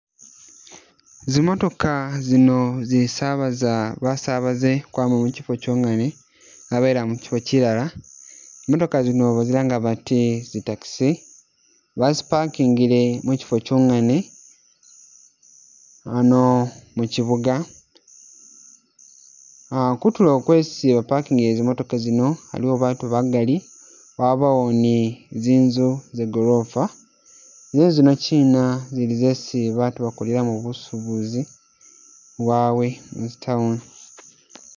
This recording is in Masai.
Zimotooka zino zisabasa basabaaze ukwama mukyifo kyongene zabayiila mukyifo kyilala, zimotooka zino bazilanga bati zi'taxi , bazi pakingile mukyifo kyongene ano mukyibuuga. Uh kutulo kwesi bapakingile zimotooka zino, aliwo baatu bagaali, wabaawo ne zinzu za goloofa, ne zinzu zino chiina zili zesi baatu bakolelamo busubuzi bwabwe muzi town.